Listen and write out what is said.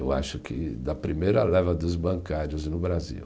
Eu acho que da primeira leva dos bancários no Brasil.